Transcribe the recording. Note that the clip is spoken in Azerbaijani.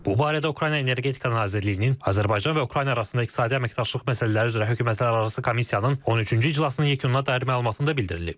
Bu barədə Ukrayna Energetika Nazirliyinin Azərbaycan və Ukrayna arasında iqtisadi əməkdaşlıq məsələləri üzrə hökumətlərarası komissiyanın 13-cü iclasının yekununa dair məlumatında da bildirilib.